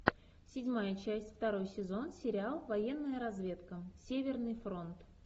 седьмая часть второй сезон сериал военная разведка северный фронт